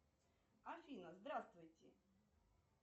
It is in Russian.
афина здравствуйте